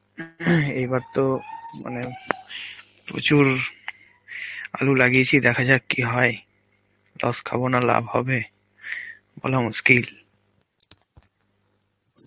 এইবার তো মানে প্রচুর আলু লাগিয়েছে, দেখা যাক কি হয়, loss খাবোনা লাভ হবে, বলা মুশকিল.